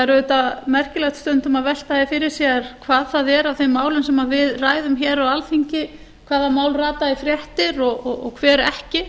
auðvitað merkilegt stundum að velta því fyrir sér hvað það er af þeim málum sem við ræðum hér á alþingi hvaða mál rata í fréttir og hver ekki